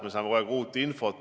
Me saame kogu aeg uut infot.